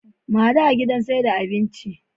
Mu hadu a gidan saida abincin